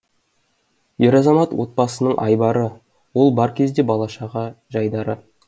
ер азамат отбасының айбары ол бар кезде бала шаға жайдары